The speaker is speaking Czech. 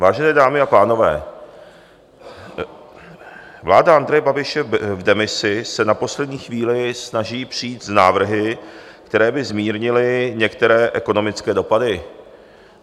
Vážené dámy a pánové, vláda Andreje Babiše v demisi se na poslední chvíli snaží přijít s návrhy, které by zmírnily některé ekonomické dopady.